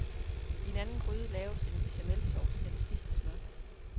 I en anden gryde laves en bechamelsauce af det sidste smør.